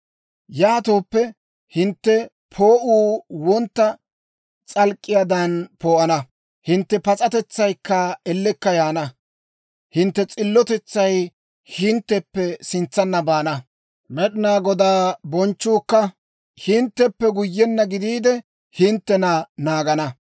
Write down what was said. «Yaatooppe, hintte poo'uu wontta s'alk'k'iyaadan poo'ana; hintte pas'atetsaykka ellekka yaana. Hintte s'illotetsay hintteppe sintsanna baana; Med'inaa Godaa bonchchuukka hintteppe guyyenna gidiide, hinttena naagana.